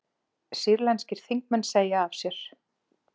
Sýrlenskir þingmenn segja af sér